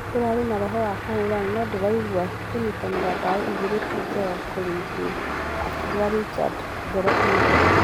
Nĩkũrarĩ na roho wa kũhũrana , nũndĩraigua gũnyitanĩra bao igĩrĩ tĩ njega kũrĩithuĩ,"akiuga richard ngoro e thĩ.